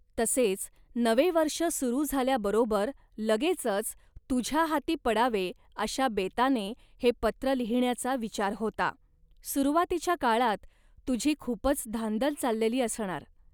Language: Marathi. तसेच नवे वर्ष सुरू झाल्याबरोबर लगेचच तुझ्या हाती पडावे अशा बेताने हे पत्र लिहिण्याचा विचार होता. सुरुवातीच्या काळात तुझी खूपच धांदल चाललेली असणार